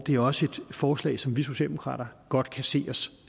er også et forslag som vi socialdemokrater godt kan se os